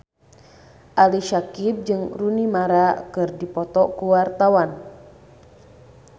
Ali Syakieb jeung Rooney Mara keur dipoto ku wartawan